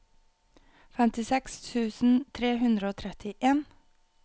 femtiseks tusen tre hundre og trettien